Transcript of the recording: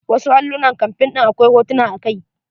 Wasu allunan campaing ɗin akwai hotuna a kai.